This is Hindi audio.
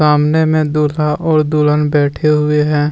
सामने में दुल्हा और दुल्हन बैठे हुए हैं।